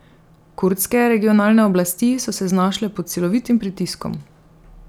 Kurdske regionalne oblasti so se znašle pod silovitim pritiskom.